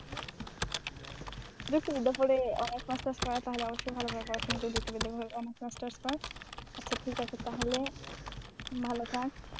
যুক্তিবিদ্যার উপরে honours masters করা তাহলে অবশ্যই ভালো ভাবে পড়াশোনা করে যুক্তিবিদ্যার উপরে honours masters কর। আচ্ছা ঠিক আছে তাহলে ভাল থাক।